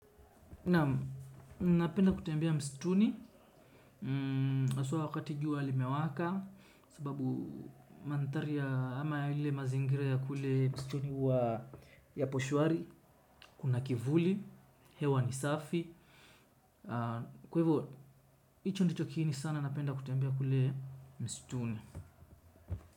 Naam, napenda kutembea msituni haswa wakati jua limewaka. Sababu mandhari ya ama ile mazingira ya kule msituni huwa yapo shwari. Kuna kivuli, hewa ni safi. Kwa hivo, hicho ndicho kiini sana napenda kutembea kule msituni.